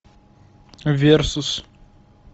версус